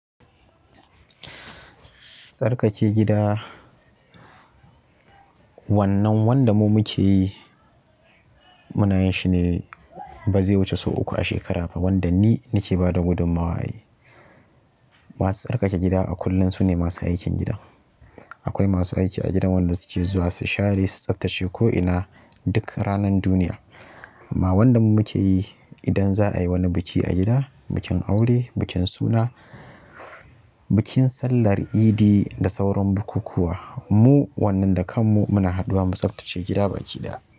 Tsarkake gida wannan wanda mu muke yi muna yin shi ne ba zai wuce sau uku a shekara ba wanda ni nake bada gudunmawa a yi. Masu tsarkake gida a kullum sune masu aikin gida. Akwai masu aiki a gidan wanda suke zuwa su share, su tsaftace ko'ina duk ranan duniya. Amma wanda muke yi idan za'a yi wani biki a gida, bikin aure, bikin suna, bikin sallar idi da sauran bukukkuwa. Mu wannan da kan mu muna haɗuwa mu tsaftace gida baki ɗaya.